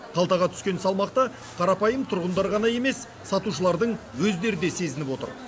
қалтаға түскен салмақты қарапайым тұрғындар ғана емес сатушылардың өздері де сезініп отыр